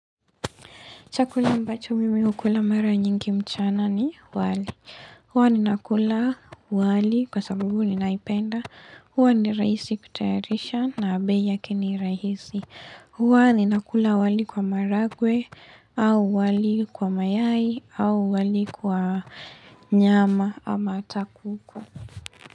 Chakula ambacho mimi hukula mara nyingi mchana ni, wali. Huwa ni nakula wali kwa sababu ninaipenda. Huwa ni raisi kutayarisha na bei yake ni rahisi. Huwa ni nakula wali kwa maragwe au wali kwa mayai au wali kwa nyama ama ata kuku.